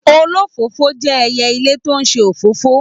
Olófòfò jẹ ẹyẹ ilé tó n ṣe òfófó.